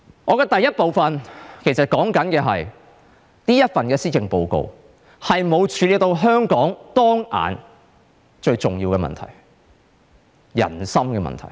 我在第一部分要說的是，這份施政報告沒有處理到香港當前最重要的人心問題。